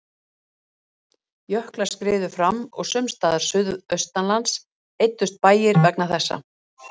Jöklar skriðu fram og sums staðar suðaustanlands eyddust bæir vegna þessa.